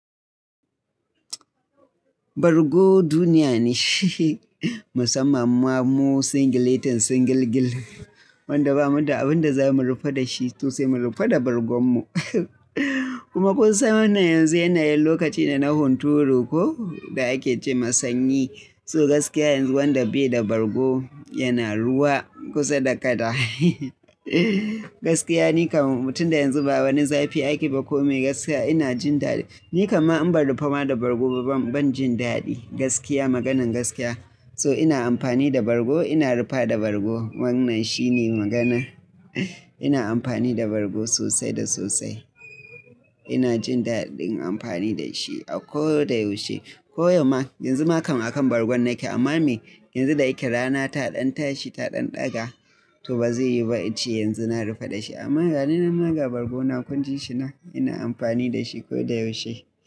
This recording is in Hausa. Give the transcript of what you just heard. Bargo duniya ne shi, musamman ma mu singiletan singilgil. Wanda bamu da abin da za mu rufa da shi to sai mu rufa da bargonmu. Kuma kun san wannan yanzu yanayin lokaci ne na hunturu ko da ake ce masanyi. So gaskiya yanzu wanda bai da bargo yana ruwa kusa da kada. Gaskiya ni kam mutum da yanzu ba wani zafi ake ba ko me gaskiya ina jin daɗi. Ni kam ma in ba rufe ma da bargo ba ban jin daɗi gaskiya maganan gaskiya. To ina amfani da bargo, ina rufa da bargo wannan shi ne magana. Ina amfani da bargo sosai da sosai. Ina jin daɗin amfani da shi a ko da yaushe. Ko yamma yanzu ma kan akan bargon nake. Amma me? Yanzu da yake rana taɗan tashi taɗan ɗaga to ba zai yi ba ice yanzu na rufa da shi. Amma ga ni na magga bargona kun jin shi na, ina amfani da shi ko da yaushe.